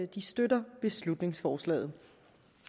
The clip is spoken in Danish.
de støtter beslutningsforslaget